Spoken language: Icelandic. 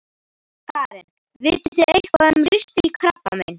Karen: Vitið þið eitthvað um ristilkrabbamein?